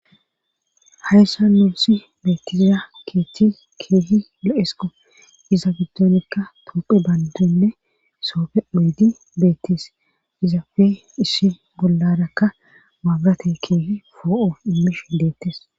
hayssa nuusi beettisisa keeththis keehi lo7esqo iza giddonekka toopphe bandonne soofe oydi beettis izafe ishi bollarakka maagate keehi foo7o immish i deettes